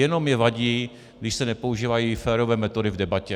Jenom mně vadí, když se nepoužívají férové metody v debatě.